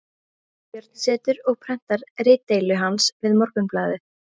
Hallbjörn setur og prentar ritdeilu hans við Morgunblaðið